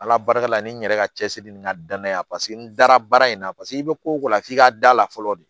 Ala barika la ni n yɛrɛ ka cɛsiri ni n ka danaya paseke n dara baara in na paseke i bɛ ko o ko la f'i ka da la fɔlɔ de